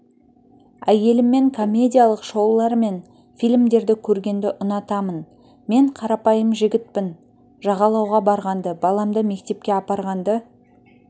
әйеліммен комедиялық шоулар мен фильмдерді көргенді ұнатамын мен қарапайым жігітпін жағалауға барғанды баламды мектепке апарғанды